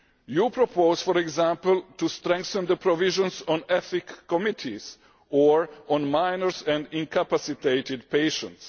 You propose, for example, strengthening the provisions on ethics committees or on minors and incapacitated patients.